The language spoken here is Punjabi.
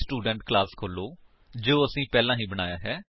ਸਟੂਡੈਂਟ ਕਲਾਸ ਵਿੱਚ ਵਾਪਸ ਜਾਓ ਜੋ ਕਿ ਅਸੀਂ ਪਹਿਲਾਂ ਹੀ ਬਣਾਇਆ ਹੈ